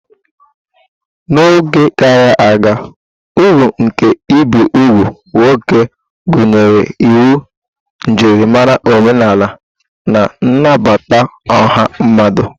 N'oge gara aga, uru nke ibi úgwù nwoke gụnyere inwe njirimara omenala na nnabata ọha mmadụ.